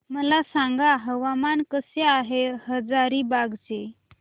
मला सांगा हवामान कसे आहे हजारीबाग चे